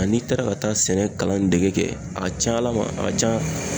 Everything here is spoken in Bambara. Ani i taara ka taa sɛnɛ kalan dege kɛ a ka ca ala ma a ka ca